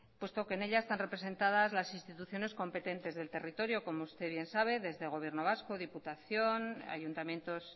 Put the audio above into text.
puesto que en ella están representadas las instituciones competentes del territorio como usted bien sabe desde el gobierno vasco diputación ayuntamientos